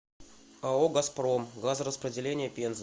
ао газпром газораспределение пенза